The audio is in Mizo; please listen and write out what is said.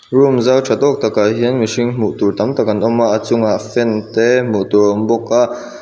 room zau tha tawk takah hian mihring hmuh tur tam tak an awm a a chungah fan te hmuh tur a awm bawk a.